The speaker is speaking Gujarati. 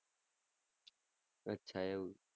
અચ્છા એવું.